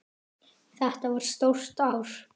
Þetta var stórt ár.